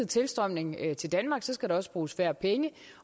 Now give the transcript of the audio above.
tilstrømning til danmark skal der også bruges færre penge